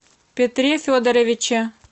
петре федоровиче